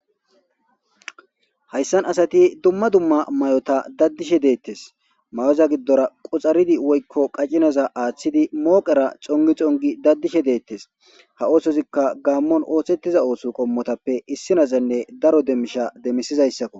hayssan asati dumma dumma mayota daddishe deettes may7oza giddora quxaridi woykko qacinaza aaththidi mooqera xongi xongi daddishe deettes ha oosozikka gaammon oohthettiza ooso qommotappe issinazanne daro demmisha demisizayssakko